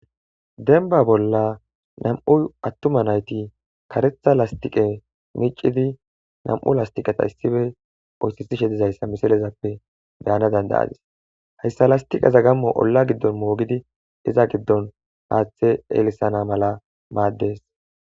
Demba bolla nammu' attuma naytti karetha lasthiqe miccidi nammu' lasthiqe issippe oysethiza dizayssa missile bea'nass danda'dus. Heyssa lasthiqe mogidi izza gidon haththe elisana mala madess.